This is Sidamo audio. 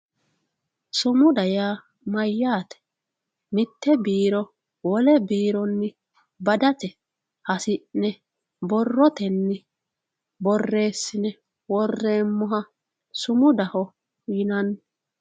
Sumuda yaa mayyaate? Mitte mitte biiro mitte biironni badete hasi'ne borrotenni borressine worranniha sumudaho yinanni